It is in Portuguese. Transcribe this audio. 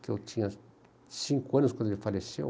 que eu tinha cinco anos quando ele faleceu.